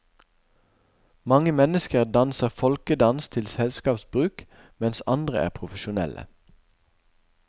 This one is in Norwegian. Mange mennesker danser folkedans til selskapsbruk, mens andre er profesjonelle.